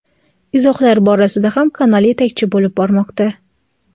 izohlar borasida ham kanal yetakchi bo‘lib bormoqda.